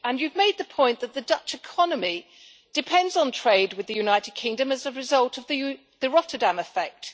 You've made the point that the Dutch economy depends on trade with the United Kingdom as a result of the Rotterdam effect.